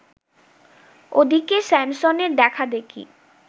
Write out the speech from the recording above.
ওদিকে স্যামসনের দেখাদেখি